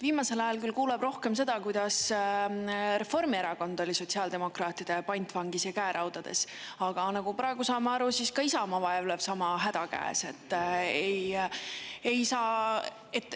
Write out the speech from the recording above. Viimasel ajal küll kuuleb rohkem seda, kuidas Reformierakond oli sotsiaaldemokraatide pantvangis ja käeraudades, aga nagu praegu saame aru, ka Isamaa vaevleb sama häda käes.